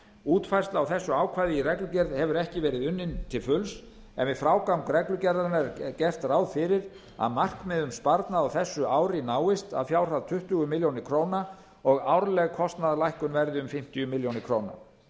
útfærsla á þessu ákvæði í reglugerð hefur ekki verið unnin til fulls en við frágang reglugerðarinnar er gert ráð fyrir að markmið um sparnað á þessu ári náist að fjárhæð tuttugu milljónir króna og árleg kostnaðarlækkun verði um fimmtíu milljónir króna